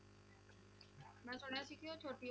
ਮੈਂ ਸੁਣਿਆ ਸੀ ਕਿ ਉਹ ਛੋਟੀ